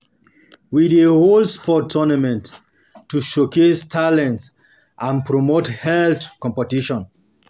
We um dey hold um sports tournaments um to showcase talents and promote healthy competition.